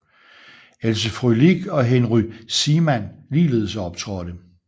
Else Frölich og Henry Seemann ligeledes optrådte